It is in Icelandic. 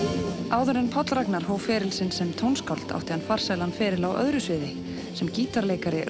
áður en Páll Ragnar hóf feril sinn sem tónskáld átti hann farsælan feril á öðru sviði sem gítarleikari